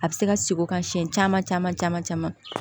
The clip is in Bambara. A bɛ se ka segin o kan siɲɛ caman caman caman